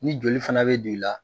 Ni joli fana bɛ don i la.